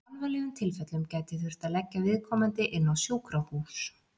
Í alvarlegum tilfellum gæti þurft að leggja viðkomandi inn á sjúkrahús.